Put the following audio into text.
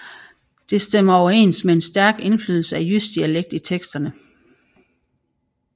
Det stemmer overens med en stærk indflydelse af jysk dialekt i teksterne